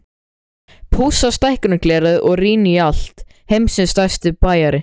Pússa stækkunarglerið og rýni í allt, heimsins stærsti spæjari.